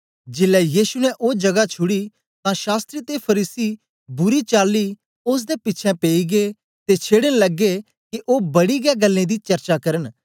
जेलै यीशु ने ओ जगा छुड़ी तां शास्त्री ते फरीसी बुरी चाली ओसदे पिछें पेई गै ते छेड़न लगे के ओ बड़ी गै गल्लें दी चर्चा करन